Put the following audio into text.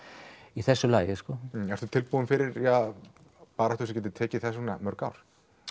í þessu lagi sko ertu tilbúinn fyrir ja baráttu sem gæti tekið þess vegna mörg ár